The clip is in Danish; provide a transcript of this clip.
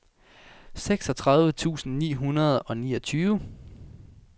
seksogtredive tusind ni hundrede og niogtyve